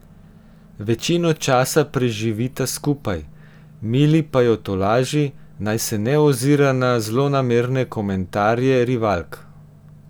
Večino časa preživita skupaj, Mili pa jo tolaži, naj se ne ozira na zlonamerne komentarje rivalk.